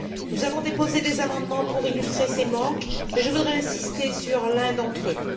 Nous avons déposé des amendements pour illustrer ces manques mais je voudrais insister sur l'un d'entre eux.